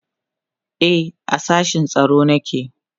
e a sashen tsaro nake